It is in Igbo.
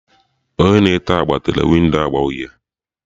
Onye na-ete agba tere windo agba uhie